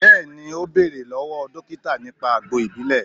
Bẹẹni, o bẹ̀rẹ̀ lọ́wọ́ dókítà nípa àgbo ìbílè